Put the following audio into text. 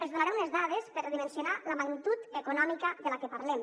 els donaré unes dades per dimensionar la magnitud econòmica de la que parlem